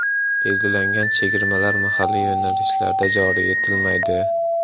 Belgilangan chegirmalar mahalliy yo‘nalishlarda joriy etilmaydi.